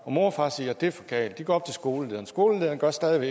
mor og far og siger det er for galt de går op til skolelederen skolelederen gør stadig